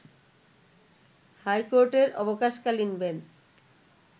হাইকোর্টের অবকাশ-কালীন বেঞ্চ